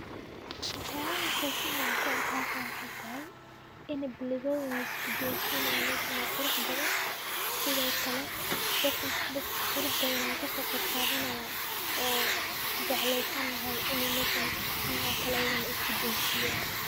Waxyaabaha xisaalaan ku arkaalka waxay tahay inay bilood in isku doon si inay meeshan oo qurux badan, sidoo kale dadh dadh qurux badan ay ka soo qayb qaadanaya ooo jecleysan lahay in meesha waxhan oo kale ayaan isku doosian.